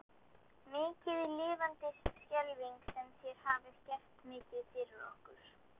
Mikið lifandis skelfing sem þér hafið gert mikið fyrir okkur.